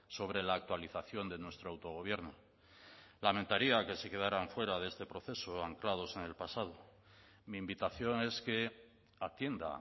sobre la actualización de nuestro autogobierno lamentaría que se quedaran fuera de este proceso anclados en el pasado mi invitación es que atienda